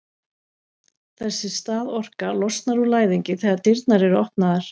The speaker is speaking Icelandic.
þessi staðorka losnar úr læðingi þegar dyrnar eru opnaðar